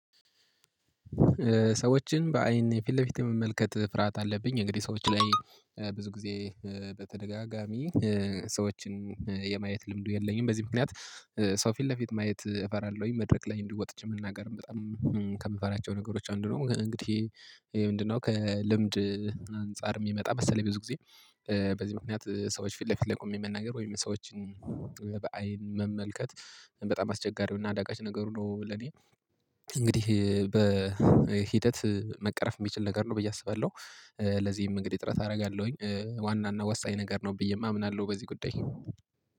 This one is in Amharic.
ሰዎችን በአይን ፊት ለፊት የመመልከት ፍርሃት አለብኝ እንግዲህ ሰዎች ላይ ብዙ ጊዜ በተደጋጋሚ ሰዎችን የማየት ልምዱ የለኝም በዚህ ምክንያት። ሰው ፊት ለፊት ማየት እፈራለሁኝ መድረክ ላይ እንዲ ወጥቼ መናገርም በጣም ከምፈራቸው ነገሮች አንዱ ነው። እንግዲህ ምንድነው? ከልምድ አንፃር የሚመጣ መሰለይ ብዙ ጊዜ። በዚህ ምክንያት ሰዎች ፊት ለፊት ላይ ቆሜ መናገር ወይም ሰዎችን በአይን መመልከት በጣም አስቸጋሪው እና አዳጋች ነገሩ ነው። ለኔ እንግዲህ በሂደት መቅረፍ የሚችል ነገር ነው ብዬ አስባለሁ። ለዚህም እንግዲህ ጥረት አደርጋለሁኝ ዋናና ወሳኝ ነገር ነው ብዬም አምናለሁ። በዚህ ጉዳይ